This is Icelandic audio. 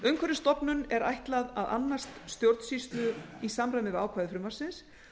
umhverfisstofnun er ætlað að annast stjórnsýslu í samræmi við ákvæði frumvarpsins